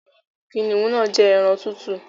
Kìnìún náà ń jẹ́ ẹran tútù